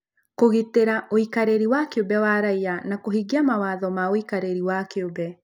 Kũgitĩra ũikarĩri wa kĩũmbe wa raiya na kũhingia mawatho ma ũikarĩri wa kĩũmbe